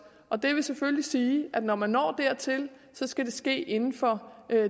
og det vil selvfølgelig sige at når man når dertil skal det ske inden for